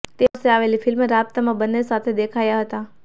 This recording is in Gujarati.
તે વર્ષે આવેલી ફિલ્મ રાબ્તામાં બંને સાથે દેખાયા હતા